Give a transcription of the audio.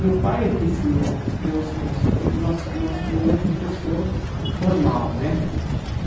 Meu pai é quem ensinou, deu foi o nosso nosso primeiro professor formal né.